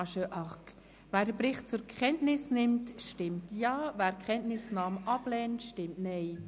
Wer den Bericht zur Kenntnis nimmt, stimmt Ja, wer die Kenntnisnahme ablehnt, stimmt Nein.